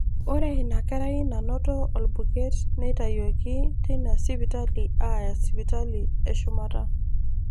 Ore inakerai nanoto orbuket neitayioki teina sipitali aaya sipitali eshumata.